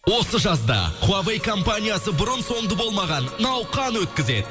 осы жазда хуавэй компаниясы бұрын соңды болмаған науқан өткізеді